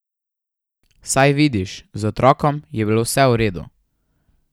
Saj vidiš, z otrokom je bilo vse v redu.